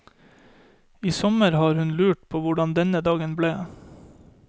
I sommer har hun lurt på hvordan denne dagen ble.